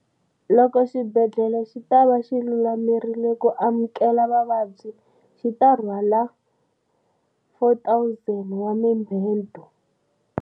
Loko xibedhlele xi ta va xi lulamerile ku amukela vavabyi, xi ta rhwala 4 000 wa mibedwa.